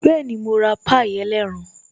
Bẹẹni, mo ra pie ẹlẹ́ran